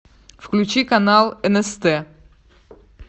включи канал нст